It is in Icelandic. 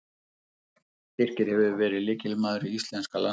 Birkir hefur verið lykilmaður í íslenska landsliðinu.